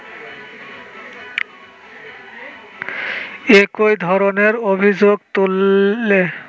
একই ধরণের অভিযোগ তুললে